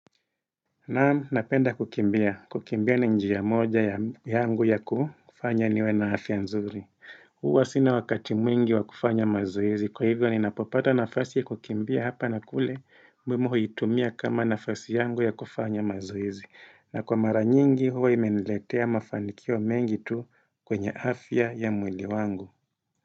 Na napenda kukimbia. Kukimbia ni njiya moja yangu ya kufanya niwe na afya nzuri. Huwa sina wakati mwingi wa kufanya mazoezi Kwa hivyo ni napopata nafasi ya kukimbia hapa na kule mbinu huitumia kama nafasi yangu ya kufanya mazoezi. Na kwa maranyingi huwa imeniletea mafanikio mengi tu kwenye afya ya mwili wangu.